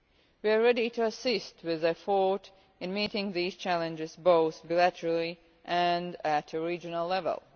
We are ready to assist with the effort in meeting these challenges both bilaterally and at a regional level.